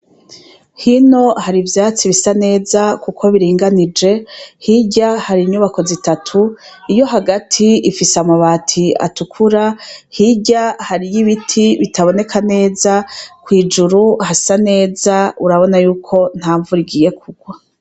Hino hari ivyatsi bisa neza kuko biringanije, hirya hari inyubako zitatu; iyo hagati ifise amabati atukura, hirya hariyo ibiti bitaboneka neza, kw'ijuru hasa neza, urabona y'uko, ntamvura igiye kugwa.